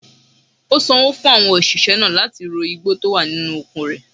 Ó sanwó fún àwọn òṣìṣẹ́ náà láti ro igbó tí ó wà nínú oko rẹ̀.